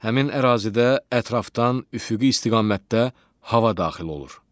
Həmin ərazidə ətrafdan üfüqi istiqamətdə hava daxil olur.